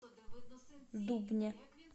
дубне